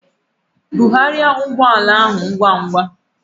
Bugharịa ụgbọ ala ahụ ngwa ngwa!